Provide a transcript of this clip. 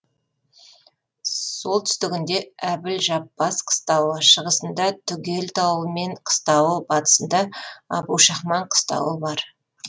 солтүстігінде әбілжаппас қыстауы шығысында түгел тауы мен қыстауы батысында әбушахман қыстауы бар